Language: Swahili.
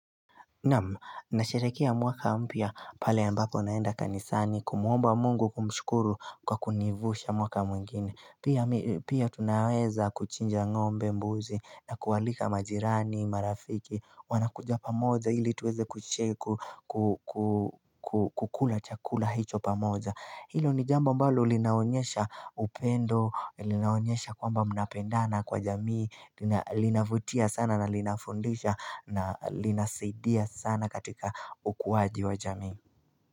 Naam nasharekia mwaka mpia pale ambako naenda kanisani kumuomba mungu kumshukuru kwa kunivusha mwaka mwengine. Pia tunaweza kuchinja ngombe mbuzi na kualika majirani marafiki. Wanakujapamoza hili tuweze kucheku kukula chakula hicho pamoza. Hilo ni jamba mbalo linaonyesha upendo, linaonyesha kwamba mnapendana kwa jamii, linavutia sana na linafundisha na linasidia sana katika ukuwaji wa jamii.